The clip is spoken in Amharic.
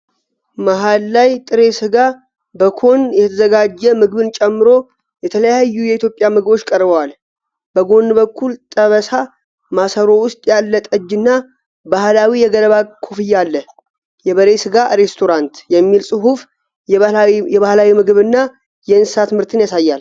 መሃል ላይ ጥሬ ስጋ በኮን የተዘጋጀ ምግብን ጨምሮ የተለያዩ የኢትዮጵያ ምግቦች ቀርበዋል። በጎን በኩል ጠበሳ፣ ማሰሮ ውስጥ ያለ ጠጅ እና ባህላዊ የገለባ ኮፍያ አለ። 'የበሬ ሥጋ ሬስቶራንት' የሚል ጽሑፍ የባህላዊ ምግብና የእንስሳት ምርትን ያሳያል።